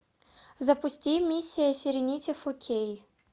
запусти миссия серенити фо кей